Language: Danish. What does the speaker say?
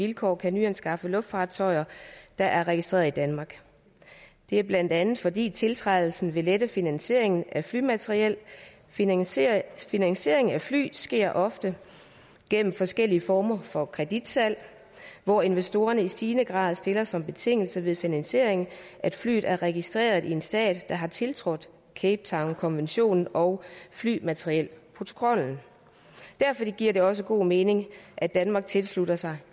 vilkår kan nyanskaffe luftfartøjer der er registreret i danmark det er blandt andet fordi tiltrædelsen vil lette finansieringen af flymateriel finansiering finansiering af fly sker ofte gennem forskellige former for kreditsalg hvor investorerne i stigende grad stiller som betingelse ved finansiering at flyet er registreret i en stat der har tiltrådt cape town konventionen og flymaterielprotokollen derfor giver det også god mening at danmark tilslutter sig